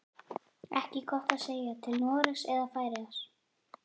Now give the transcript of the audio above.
Ekki gott að segja, til Noregs eða Færeyja.